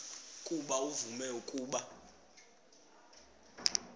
ukuba uvume ukuba